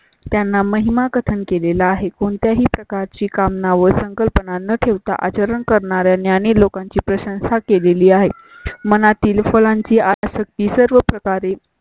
त्यांना महिमा कथन केलेला आहे. कोणत्याही प्रकारची कामना व संकल्पना न ठेवता आचरण करणाऱ्या ज्ञानीलोकांची प्रशंसा केलेली आहे. मनातील फुलांची आसक्ती सर्व प्रकारे.